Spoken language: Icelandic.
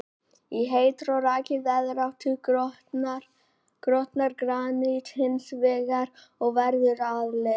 Í heitri og rakri veðráttu grotnar granít hins vegar og verður að leir.